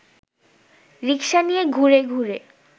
রিক্সা নিয়ে ঘুরে ঘুরে